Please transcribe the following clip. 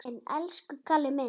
Elsku Kalli minn!